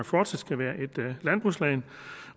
fortsat skal være et landbrugsland